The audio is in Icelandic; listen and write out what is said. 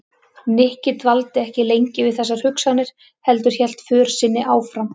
Nikki dvaldi ekki lengi við þessar hugsanir heldur hélt för sinni áfram.